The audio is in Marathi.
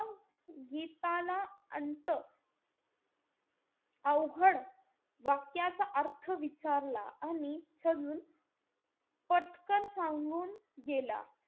गीताला अंत अवघड वाक्याचा अर्थ विचारला आणि छजून पटकन सांगून गेला.